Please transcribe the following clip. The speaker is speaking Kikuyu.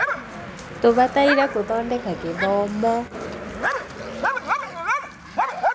tũbataire gũthodeka gĩthomo